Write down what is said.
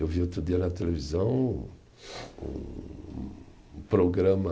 Eu vi outro dia na televisão um programa